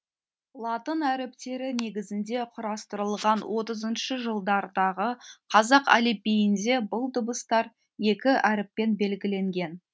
латын әріптері негізінде құрастырылған отызыншы жылдардағы қазақ әліпбиінде бұл дыбыстар екі әріппен белгіленген